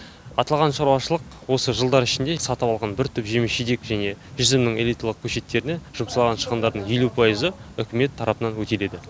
аталған шаруашылық осы жылдар ішінде сатып алған бір түп жеміс жидек және жүзімнің элиталық көшеттеріне жұмсалған шығындардың елу пайызы үкімет тарапынан өтеледі